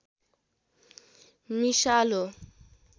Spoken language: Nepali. मिसाल हो